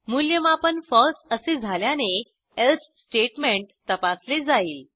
मूल्यमापन falseअसे झाल्याने एल्से स्टेटमेंट तपासले जाईल